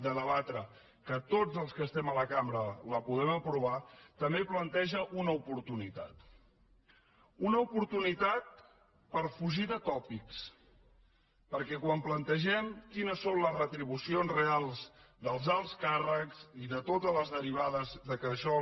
de debatre que tots els que estem a la cambra la podem aprovar també planteja una oportunitat una oportunitat per fugir de tòpics perquè quan plantegem quines són les retribucions reals dels alts càrrecs i de totes les derivades que a això